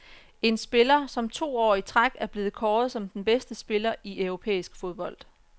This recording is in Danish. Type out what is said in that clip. En spiller, som to år i træk er blevet kåret som den bedste spiller i europæisk fodbold.